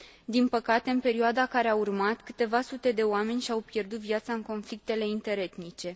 Din păcate, în perioada care a urmat, câteva sute de oameni și au pierdut viața în conflictele interetnice.